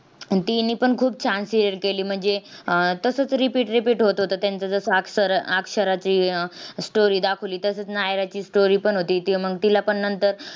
आणि तिनेपण खूप छान serial केली. म्हणजे, तसंच repeat repeat होत होतं त्यांचे. जसं अक्ष~ अक्षराची अह story दाखवली, तसंच नायराची story पण होती. ती मग~ तिलापण नंतर